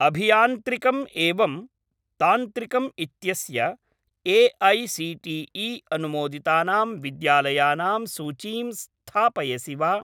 अभियान्त्रिकम् एवं तान्त्रिकम् इत्यस्य ए.ऐ.सी.टी.ई. अनुमोदितानां विद्यालयानां सूचीं स्थापयसि वा?